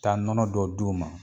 Taa nɔnɔ dɔ d'u ma